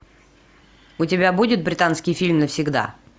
у тебя будет британский фильм навсегда